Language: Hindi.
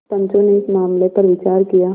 पंचो ने इस मामले पर विचार किया